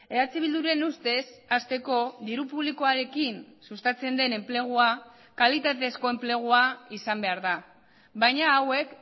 eh bilduren ustez hasteko diru publikoarekin sustatzen den enplegua kalitatezko enplegua izan behar da baina hauek